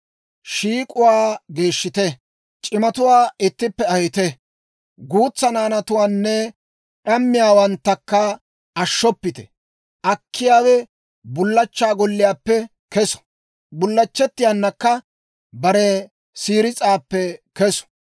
Shiik'uwaa geeshshite; c'imatuwaa ittippe ahite; guutsaa naanatuwaanne d'ammiyaawanttakka ashshoppite. Akkiyaawe Bullachchaa golliyaappe keso; bullachchettiyaanakka bare siiris'aappe kesu.